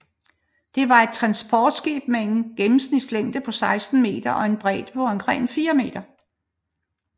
Det var et transportskib med en gennemsnitslængde på 16 m og en bredde på omkring 4 m